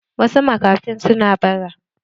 Wasu makafin suna bara.